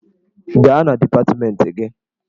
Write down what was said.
Gaa na dipatmenti gị!